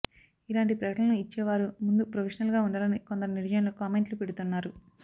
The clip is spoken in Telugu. ఇలాంటి ప్రకటనలు ఇచ్చే వారు ముందు ప్రొఫెషనల్గా ఉండాలని కొందరు నెటిజన్లు కామెంట్లు పెడుతున్నారు